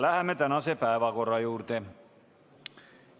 Läheme tänase päevakorra juurde.